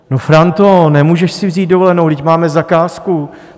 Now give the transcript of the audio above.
No, Franto, nemůžeš si vzít dovolenou, vždyť máme zakázku.